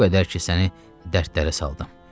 Bu qədər ki, səni dərdlərə saldım.